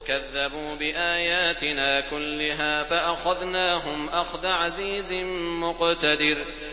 كَذَّبُوا بِآيَاتِنَا كُلِّهَا فَأَخَذْنَاهُمْ أَخْذَ عَزِيزٍ مُّقْتَدِرٍ